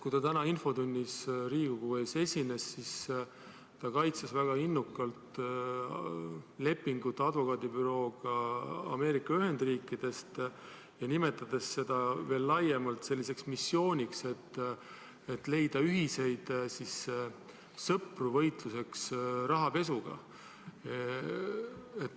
Kui ta täna infotunnis Riigikogu ees esines, siis ta kaitses väga innukalt lepingut advokaadibürooga Ameerika Ühendriikidest, nimetades seda veel laiemalt selliseks missiooniks, mille abil leida ühiseid sõpru võitluseks rahapesuga.